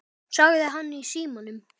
sagði hann í símann.